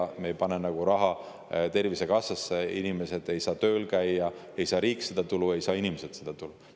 Kui me ei pane raha Tervisekassasse, siis inimesed ei saa tööl käia ning ei saa riik tulu ega saa inimesed tulu.